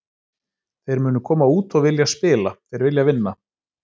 Þeir munu koma út og vilja spila, þeir vilja vinna.